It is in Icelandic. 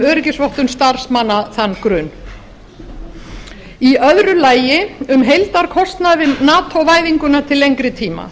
öryggisvottun starfsmanna þann grun í öðru lagi um heildarkostnað við nato væðinguna til lengri tíma